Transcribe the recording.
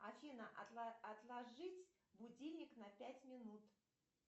афина отложить будильник на пять минут